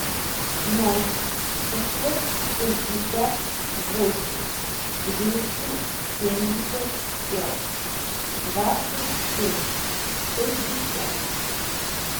ноль шестьсот шестьдесят восемь двести семьдесят пять двадцать семь шестьдесят